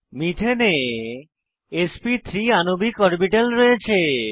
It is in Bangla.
মিথেনে এসপি3 আণবিক অরবিটাল রয়েছে